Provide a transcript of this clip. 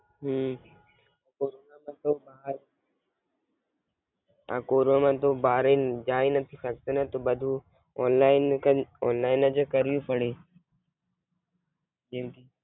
હમ corona માં તો બહાર આ કોરોના માં તો બહાર જાય નથી શકતા ને તો બધું ઓનલાઇન કર ઓનલાઇન જે કરિયું પડે જેમકે